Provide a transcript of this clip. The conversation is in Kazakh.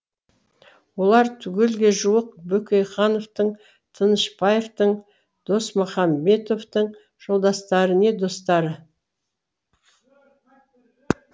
олар түгелге жуық бөкейхановтың тынышбаевтың досмұхамедовтың жолдастары не достары